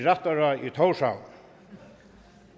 tórshavn